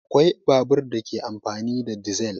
Akwai babur da ke amfani da dizal